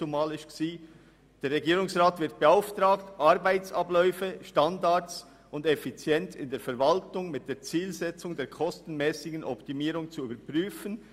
«Der Regierungsrat wird beauftragt, Arbeitsabläufe, Standards und Effizienz in der Verwaltung mit der Zielsetzung der kostenmässigen Optimierung zu überprüfen.